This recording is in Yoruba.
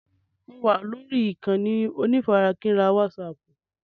Mo wà lórí ìkànnì onífarakínra wásààpù.